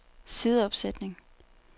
sideopsætning